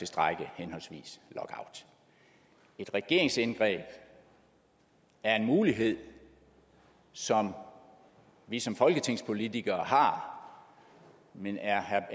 strejke og lockout et regeringsindgreb er en mulighed som vi som folketingspolitikere har men er herre